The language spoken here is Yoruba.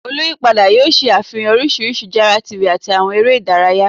Oluyipada yoo ṣe afihan oriṣiriṣi jara TV ati awọn ere idaraya